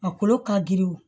A kolo ka girin o